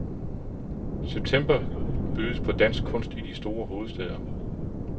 September bydes på dansk kunst i de to store hovedstæder.